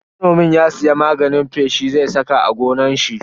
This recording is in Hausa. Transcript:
Manomin ya siya magani feshi zai saka a gonar shi.